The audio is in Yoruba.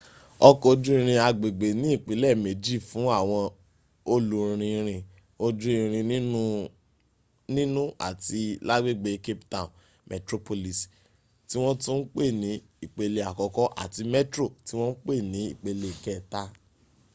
ọkọ̀ ojú irin agbègbè ní ìpele méjì fún àwọn olùrìnrìn ojú irin nínú àti lágbègbè cape town: metroplus ti wọ́n tún ń pè ní ìpele àkọ́kọ́ àti metro tí wọ́n pè ní ìpele kẹta